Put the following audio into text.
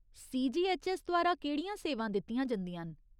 CGHS द्वारा केह्ड़ियां सेवां दित्तियां जंदियां न ?